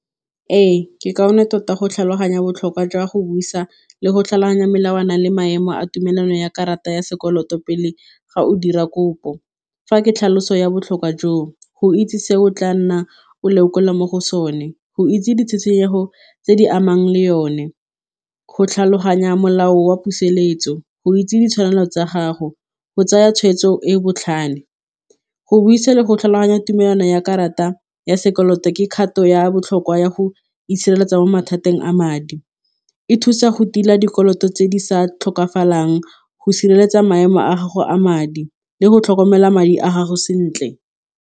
Ee, ke kaone tota go tlhaloganya botlhokwa jwa go busa le go tlhaloganya melawana le maemo a tumelano ya karata ya sekoloto pele ga o dira kopo, fa ke tlhaloso ya botlhokwa joo go itse se o tla nna o lekola mo go sone, go itse ditshenyego tse di amang le yone, go tlhaloganya molao wa pusetso, go itse ditshwanelo tsa gago go tsaya tshweetso e botlhale. Go buisa go tlhaloganya tumelano ya karata ya sekoloto ke kgato ya kwa ya go itshireletsa mo mathateng a madi, e thusa go tila dikoloto tse di sa tlhokafalang go sireletsa maemo a gago a madi le go tlhokomela madi a gago sentle.